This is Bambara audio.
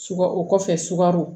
Sukaro o kɔfɛ sukaro